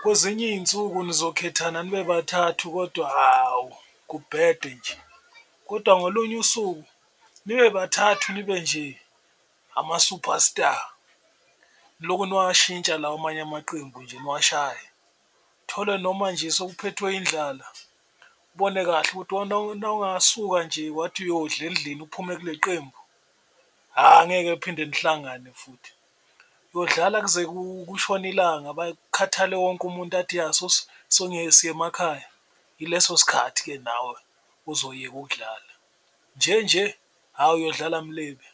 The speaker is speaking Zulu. kwezinye iy'nsuku nizokhethana nibe bathathu kodwa hawu kubhede nje, kodwa ngolunye usuku nibe bathathu nibe nje ama-superstar, loku niwashintsha lawa amanye amaqembu nje niwashayela. Uthole noma nje sewuphethwe indlala ubone kahle ukuthi nawungasuka nje wathi uyodla endlini uphume kule qembu hha ngeke phinde lihlangane futhi uyodlala kuze kushone ilanga kukhathale wonke umuntu athi, ya siye emakhaya. Ileso sikhathi-ke nawe ozoyeka ukudlala nje nje hhawu uyodlala mlibe.